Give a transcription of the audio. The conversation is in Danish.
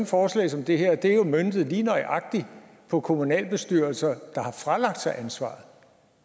forslag som det her jo er møntet lige nøjagtig på kommunalbestyrelser der har fralagt sig ansvaret